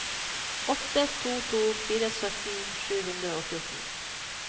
åtte to to fire sytten sju hundre og fjorten